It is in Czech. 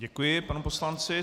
Děkuji panu poslanci.